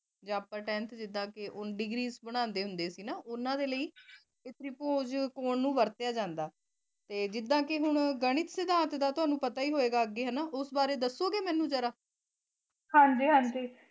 ਜੇ ਆਪਾਂ ਟੈਂਥ ਚ ਜਿਦਾਂ ਕੇ ਡੀਗਰੀ ਬ੍ਨਾੰਡੀ ਹੁੰਦੇ ਸੀ ਓਨਾਂ ਦੇ ਲੈ ਤ੍ਰਿਪੁਜ਼ ਕਾਨ ਨੂ ਵਾਰ੍ਤ੍ਯਾ ਜਾਂਦਾ ਜਿਦਾਂ ਕੇ ਹੁਣ ਗਣਿਤ ਸਿਧਾਂਤ ਦਾ ਤਨੁ ਪਤਾ ਈ ਹੋਣਾ ਅਗੇ ਓਸ ਬਾਰੇ ਮੇਨੂ ਦਸੋ ਗੇ ਜ਼ਰਾ ਹਾਂਜੀ ਹਾਂਜੀ